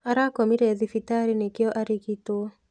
Arakomire thibitarĩ nikĩo arigitwo.